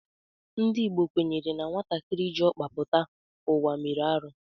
Ndị Igbo kwenyere na nwatakịrị jị ọkpa pụta ụwa mere arụ